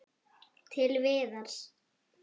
Til Viðars.